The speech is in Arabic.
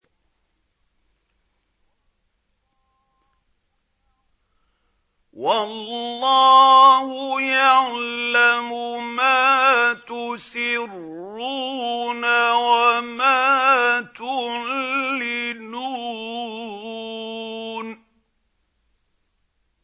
وَاللَّهُ يَعْلَمُ مَا تُسِرُّونَ وَمَا تُعْلِنُونَ